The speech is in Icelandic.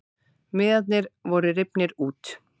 Miðarnir voru rifnir út